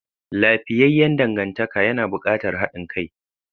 Lafiyayyan dangantaka yana buƙatar haɗin kai.